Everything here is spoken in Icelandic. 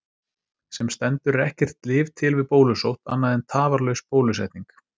Sem stendur er ekkert lyf til við bólusótt annað en tafarlaus bólusetning.